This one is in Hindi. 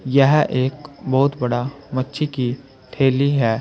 यह एक बहुत बड़ा मच्छी की ठेली है।